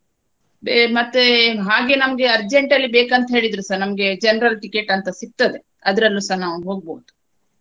ಬೇ~ ಮತ್ತೆ ಹಾಗೆ ನಮ್ಗೆ urgent ಅಲ್ಲಿ ಬೇಕಂತ ಹೇಳಿದ್ರುಸ ನಮ್ಗೆ general ticket ಅಂತ ಸಿಗ್ತದೆ ಅದ್ರಲ್ಲುಸ ನಾವು ಹೋಗ್ಬಹುದು.